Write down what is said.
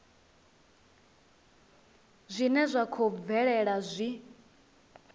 zwine zwa khou bvelela zwi